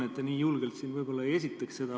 Muidu te nii julgelt siin seda ehk ei esitaks.